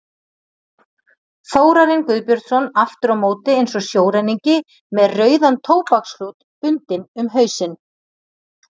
Þórarinn Guðbjörnsson aftur á móti eins og sjóræningi með rauðan tóbaksklút bundinn um hausinn.